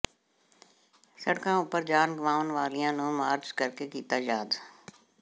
ਸੜਕਾਂ ਉਪਰ ਜਾਨ ਗਵਾਉਣ ਵਾਲਿਆਂ ਨੂੰ ਮਾਰਚ ਕਰਕੇ ਕੀਤਾ ਯਾਦ